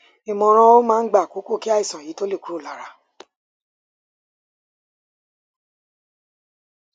ìmọràn ó máa ń gba àkókò kí àìsàn yìí tó lọ kúrò lára